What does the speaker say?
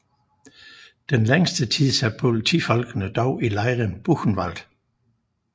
Den længste tid sad politifolkene dog i lejren Buchenwald